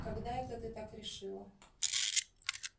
когда это ты так решила